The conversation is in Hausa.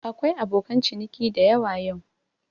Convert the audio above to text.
Akwai abokan ciniki dayawa yau.